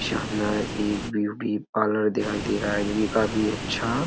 शानदार एक beauty parlour दिखाई दे रहा है जो कि काफी अच्छा --